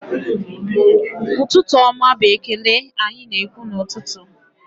Ụtụtụ ọma bụ ekele anyị na-ekwu n'ụtụtụ